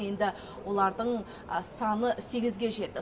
енді олардың саны сегізге жетті